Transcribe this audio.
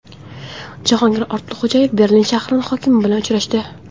Jahongir Ortiqxo‘jayev Berlin shahri hokimi bilan uchrashdi.